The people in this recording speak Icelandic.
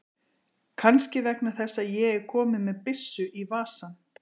Kannski vegna þess að ég er kominn með byssu í vasann.